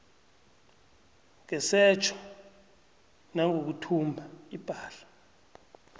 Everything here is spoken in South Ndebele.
ngesetjho nangokuthumba ipahla